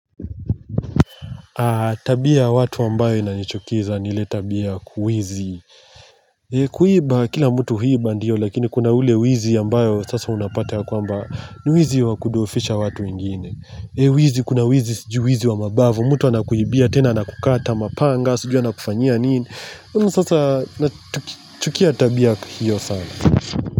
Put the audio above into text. Tabia ya watu ambayo inanichukiza ni ile tabia kuhizi. Kuiba kila mtu huiba ndio lakini kuna ule wizi ambayo sasa unapata kwa amba niwizi wa kudhohofisha watu wegine. Wizi kuna wizi siju wizi wa mabavu. Mtu anakuibia, tena anakukata, mapanga, sijui anakufanyia nini. Sasa nachukia tabia hiyo sana.